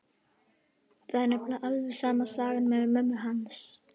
Það er nefnilega alveg sama sagan með mömmu hans.